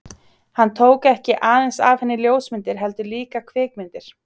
Hann tók ekki aðeins af henni ljósmyndir, heldur líka kvikmyndir.